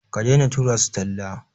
Ka daina tura su talla.